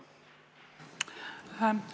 Palun!